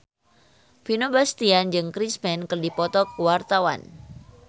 Vino Bastian jeung Chris Pane keur dipoto ku wartawan